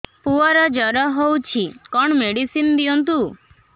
ପୁଅର ଜର ହଉଛି କଣ ମେଡିସିନ ଦିଅନ୍ତୁ